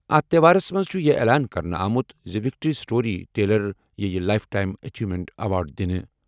اَتھ تہوارَس منٛز چھُ یہِ اعلان کرنہٕ آمُت زِ وکٹری سٹوری ٹیلر یِیہِ لایِف ٹایِم اچیومینٹ ایوارڈ دِنہٕ۔